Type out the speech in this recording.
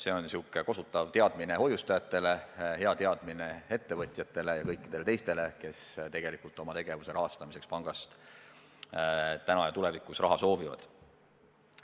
See on kosutav teadmine hoiustajatele, hea teadmine ettevõtjatele ja kõikidele teistele, kes oma tegevuse rahastamiseks pangast täna ja tulevikus raha soovivad.